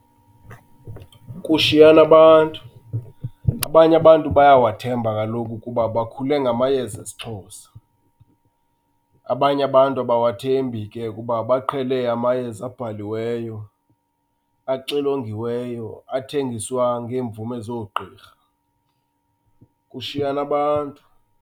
Kushiyana abantu. Abanye abantu bayawathemba kaloku kuba bakhule ngamayeza esiXhosa. Abanye abantu abawathembi ke kuba baqhele amayeza abhaliweyo, axilongiweyo, athengiswa ngeemvume zoogqirha. Kushiyana bantu.